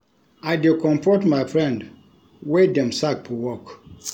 I dey comfort my friend wey dem sack for work.